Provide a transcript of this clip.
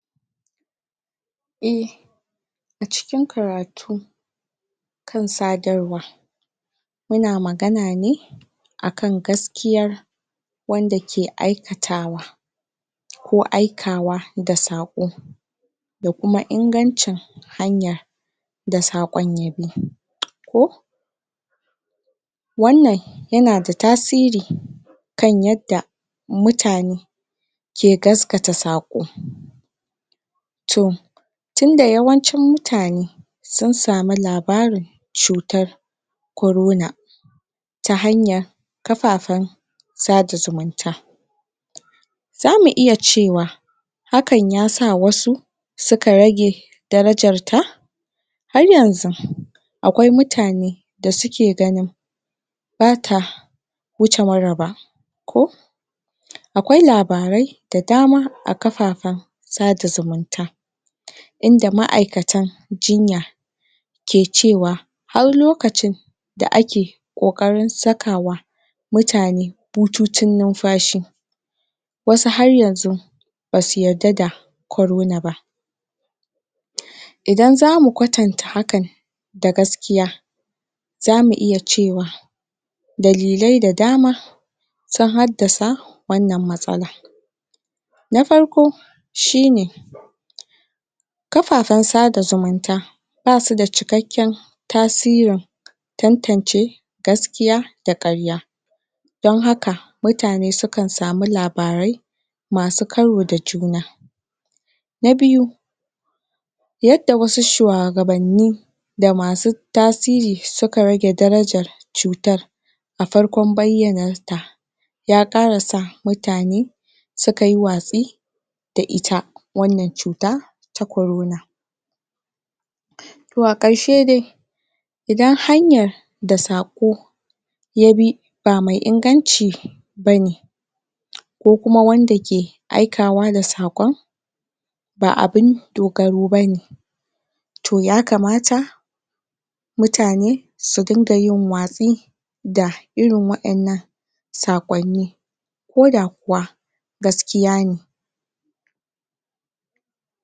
eh a cikin karatu kan sadarwa yana magana ne akan gaskiya wanda ke aikatawa ko aikawa da sako da kuma ingancin hanya da sakon ya bi ko wannan yana da tasiri kan yadda mutane ke gasgata sako to tunda yawancin mutane sun samu labarin cutar corona ta hanya kafafen sada zumunta zamu iya cewa hakan ya sa wasu suka rage darajarta har yanxu akwai mutane akwai mutane bata wuce mura ba ko akwai labarai da dama da dama a kafafen sada zumunta inda ma'aikatan jinya ke cewa har lokacin da ake kokarin sakawa mutane bututun numfashi wasu ahr yanxu basu yarda da corona ba idan zamu kwatanta hakan da gaskiya zamu iya cewa dalilai da dama sun haddasa wannan matsala na farko shine? kafafen sada zumunta basu da cikakken tasirin tantance gaskiya da karya don haka mutane su kan samu labarai masu karo da juna na biyu yadda wasu shuwagabannin da masu masu tasiri suka rage darajan cutar a farkon bayyanar ta ya kara sa mutane suka yi watsi da ita wannan cuta ta corona to a karshe dai idan hanyar da sako ya bi ba mai inganci bane ko kuma wanda ke aikawa da sakon ba abun dogaro bane to ya kamata mutane su dinga yin watsi da irin wa'ennan sakonni ko da kuwa gaskiya me